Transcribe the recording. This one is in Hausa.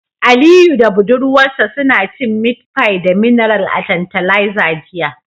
Aliyu da budurwarsa suna cin meat pie da mineral a tantalizer jiya